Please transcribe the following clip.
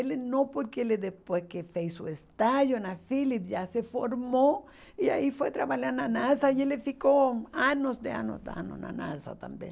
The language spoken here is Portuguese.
Ele não porque ele depois que fez o estágio na Philips já se formou e aí foi trabalhar na NASA e ele ficou anos e anos e anos na NASA também.